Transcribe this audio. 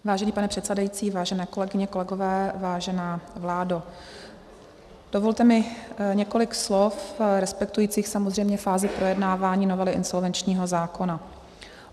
Vážený pane předsedající, vážené kolegyně, kolegové, vážená vládo, dovolte mi několik slov respektujících samozřejmě fázi projednávání novely insolvenčního zákona.